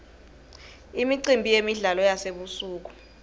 imicimbi yemidlalo yasebusuku